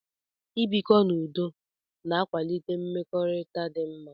I bikọ n'udo na-akwalite mmekọrịta dị mma.